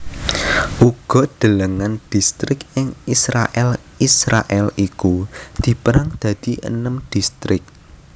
Uga delengen Distrik ing IsraèlIsraèl iku dipérang dadi enem distrik